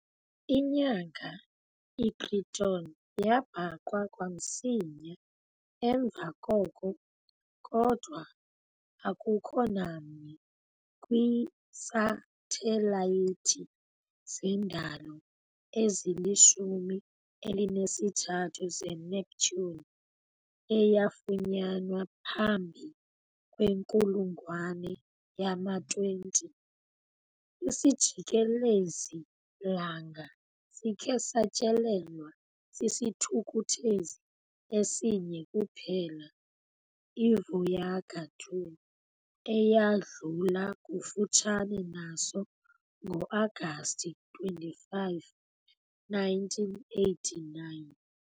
Inyanga iTriton yabhaqwa kamsinya emva koko, kodwa akukho nanye kwiisathelayithi zendalo ezilishumi elinesithathu zeNeptune eyafunyanwa phambi kwenkulungwane yama-20 . Isijikelezi-langa sikhe satyelelwa sisithukuthezi esinye kuphela, "iVoyager 2", eyadlula kufutshane naso ngo-Agasti 25, 1989.